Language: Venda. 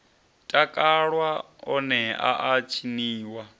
takalwa one a a tshiniwa